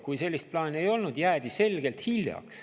Kui sellist plaani ei olnud, siis jäädi selgelt hiljaks.